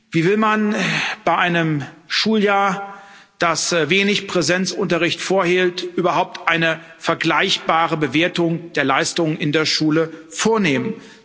Wie will man bei einem Schuljahr, das wenig Präsenzunterricht enthielt, überhaupt eine vergleichbare Bewertung der Leistung in der Schule vornehmen?